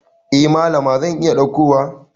Eh Mallama zan iya daukowa.